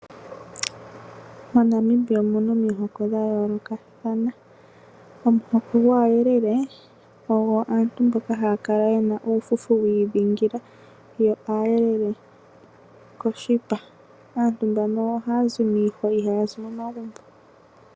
Moshilongo Namibia omuna omihoko dhaantu dhayoolokathana mono mwakwatelwa omuhoko gwaayelele (aakwankala), aantu yomuhoko nguno ohaya kala yena uufufu wiidhingika yo aayelele koshipa(aatiligane) ohaya lumbu uunene miihwa kayehole momagumbo.